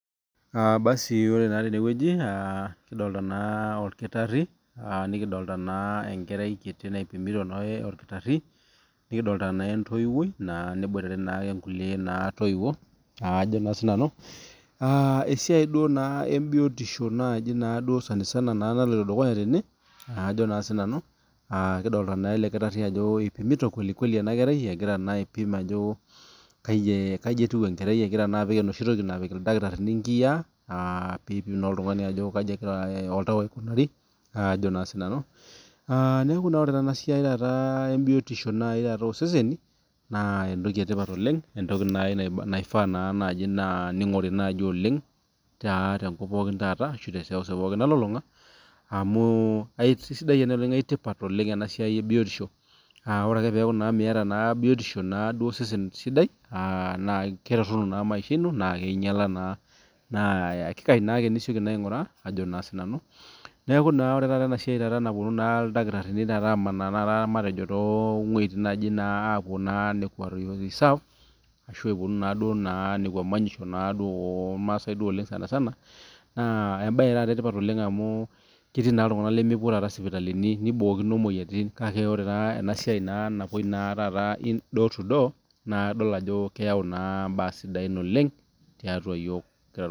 Ore naa tenewueji kidolita orkitari nikidolita enkerai kiti naipimiyo orkitarii nikidolita naa entoyiwuoi neboitare naa kulie toyiwuo esiai duo biotisho naloito dukuya tene kidolita naa ele kitarii Ajo epimito kwelikweli ena kerai aipim Ajo kaji etieu ena kerai egira naa epik enoshi toki napik ildakitarini nkiyia aa pee epim naa oltung'ani Ajo kaji egira oltau aikunari neeku ore tenasaiai ee biotisho oo seseni naa entoki sidai oleng entoki naaji naifaa naaji ning'ori tenkop pookin ashu tee seuseu nalulung'a amu kisidai ena oleng naa keeta tipat oleng ena siai ebiotiosho ore ake pee eku Miata biotisho osesen sidai naa ketoronu naa maisha eno naa ketotunu naa naa kisidai naaji enisioki aing'uraa neeku naa ore enasiai naapuonu eldakitarini amanaa too wuejitin apuo reserve ashu epuonu Kuna manyisho oo irmasai sanisana naa mbae etipat amu ketii iltung'ana lemepuo sipitalini nibokino emoyian kake ore enasiai napuoi door to door naa kadol Ajo keyawu mbaa sidain oleng tiatua iyiok